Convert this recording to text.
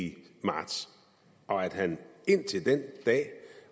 i marts og at han indtil den dag